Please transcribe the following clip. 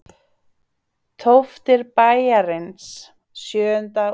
Tóftir bæjarins Sjöundá á Rauðasandi.